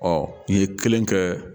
Ɔ i ye kelen kɛ